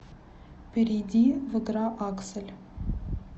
перейди в игра аксель